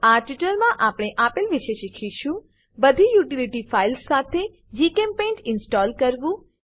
આ ટ્યુટોરીયલમાં આપણે આપેલ વિશે શીખીશું બધી યુટીલીટી ફાઈલ્સ સાથે જીચેમ્પેઇન્ટ ઇન્સ્ટોલ કરવું